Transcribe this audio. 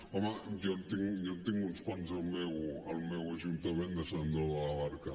home jo en tinc uns quants al meu ajuntament de sant andreu de la barca